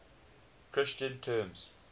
christian terms